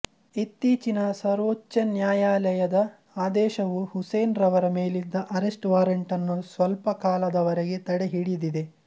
ಇತ್ತೀಚಿನ ಸರ್ವೋಚ್ಚ ನ್ಯಾಯಾಲಯದ ಆದೇಶವು ಹುಸೇನ್ ರವರ ಮೇಲಿದ್ದ ಅರೆಸ್ಟ್ ವಾರೆಂಟ್ ಅನ್ನು ಸ್ವಲ್ಪಕಾಲದವರೆಗೆ ತಡೆಹಿಡಿದಿದೆ